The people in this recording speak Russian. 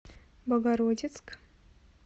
богородицк